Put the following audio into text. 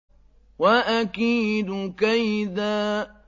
وَأَكِيدُ كَيْدًا